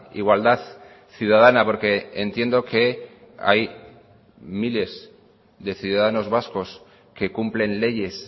igualdad ciudadana porque entiendo que hay miles de ciudadanos vascos que cumplen leyes